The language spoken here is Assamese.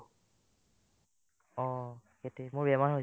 অ, সেটোয়ে মোৰ বেমাৰ হৈছিলে